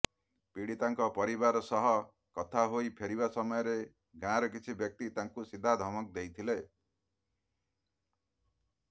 ପୀଡ଼ିତାଙ୍କ ପରିବାର ସହ କଥା ହୋଇ ଫେରିବା ସମୟରେ ଗାଁର କିଛି ବ୍ୟକ୍ତି ତାଙ୍କୁ ସିଧା ଧମକ ଦେଇଥିଲେ